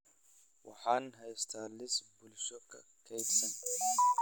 Waxaan haystaa liis bulsho oo kaydsan